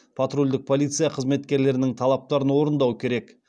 патрульдік полиция қызметкерлерінің талаптарын орындау керек